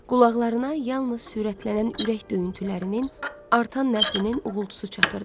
Qulaqlarına yalnız sürətlənən ürək döyüntülərinin, artan nəbzinin uğultusu çatırdı.